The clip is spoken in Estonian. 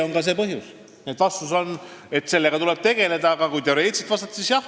Nii et vastus on, et sellega tuleb tegeleda, aga kui teoreetiliselt vastata, siis jah.